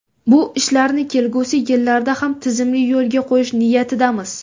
Bu ishlarni kelgusi yillarda ham tizimli yo‘lga qo‘yish niyatidamiz.